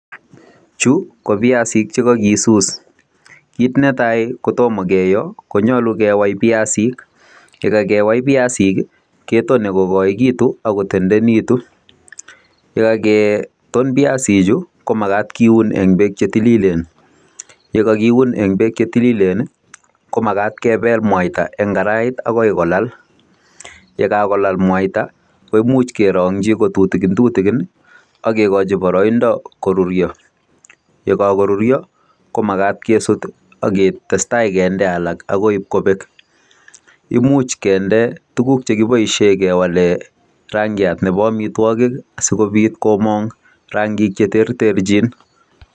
Chu ko biasinik che kogisuus, kit netai kotomo keyoo konyolu kewai biasinik, ye kagewai biasinik, ketone kogoegitun ak kotendenegitu. Ye kageton biasinik chu komagat kiun en beek che tililen. Ye kogiun en beek che tililen komagat kebel mwaita an karait agoi kolal, ye kagolal mwaita, koimuch kerongi kotutikintutikin ak kegochi boroindo koruryo. Ye kogoruryo, komagat kesut ak ketestai kinde alak agoi ibkobek. Imuch kinde tuguk che kiboisien kewalen rangiat nebo amitwogik sikobit komong rangik che terterchin.